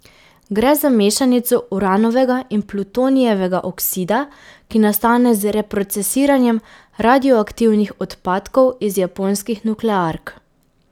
Gre za mešanico uranovega in plutonijevega oksida, ki nastane z reprocesiranjem radioaktivnih odpadkov iz japonskih nukleark.